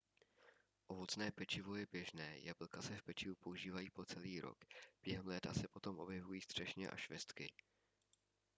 ovocné pečivo je běžné jablka se v pečivu používají po celý rok během léta se potom objevují třešně a švestky